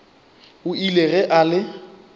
o ile ge a le